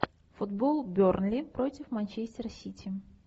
футбол бернли против манчестер сити